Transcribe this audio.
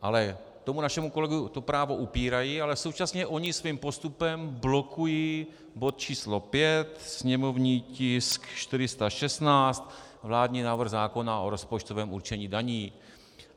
Ale tomu našemu kolegovi to právo upírají, ale současně oni svým postupem blokují bod číslo 5, sněmovní tisk 416, vládní návrh zákona o rozpočtovém určení daní.